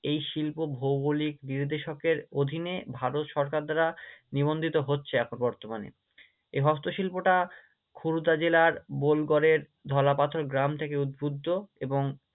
এই শিল্প ভৌগোলিক অধীনে ভারত সরকার দ্বারা নিবন্ধিত হচ্ছে এখন বর্তমানে, এই হস্তশিল্পটা খুরদা জেলার বোলগড়ের ঢলা পাথর গ্রাম থেকে উদ্বুদ্ধ এবং